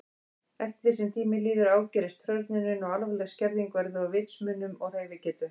Eftir því sem tíminn líður ágerist hrörnunin og alvarleg skerðing verður á vitsmunum og hreyfigetu.